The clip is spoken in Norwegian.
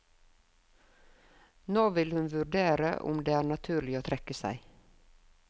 Nå vil hun vurdere om det er naturlig å trekke seg.